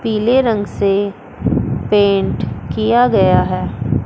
पीले रंग से पेंट किया गया है।